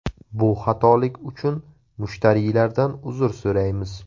Bu xatolik uchun mushtariylardan uzr so‘raymiz.